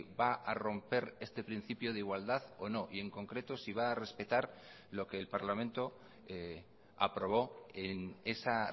va a romper este principio de igualdad o no y en concreto si va a respetar lo que el parlamento aprobó en esa